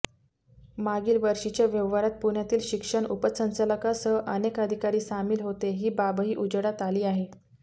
मागील वर्षीच्या व्यवहारात पुण्यातील शिक्षण उपसंचालकांसह अनेक अधिकारी सामील होते ही बाबही उजेडात आली आहे